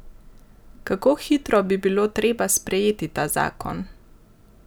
Kako hitro bi bilo treba sprejeti ta zakon?